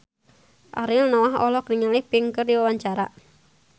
Ariel Noah olohok ningali Pink keur diwawancara